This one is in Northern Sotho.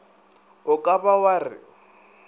o ka ba wa re